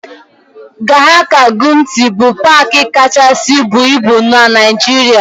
Gashaka-Gumti bụ paaki kachasị buo ibu na Naịjirịa.